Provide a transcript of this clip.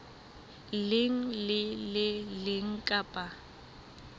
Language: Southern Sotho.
leng le le leng kapa